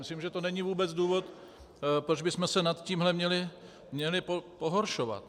Myslím, že to není vůbec důvod, proč bychom se nad tímhle měli pohoršovat.